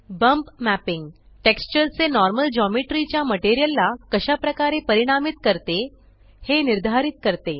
bump mapping texture चे normal geometry च्या material ला कशा प्रकारे परिणामीत करते हे निर्धरित करते